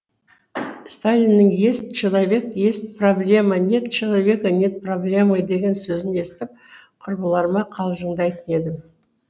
сталиннің есть человек есть проблема нет человека нет проблемы деген сөзін естіп құрбыларыма қалжыңдайтын едім